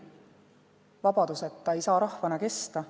Vabaduseta ei saa rahvana kesta.